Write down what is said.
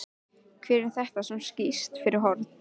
Hver er þetta sem skýst fyrir horn?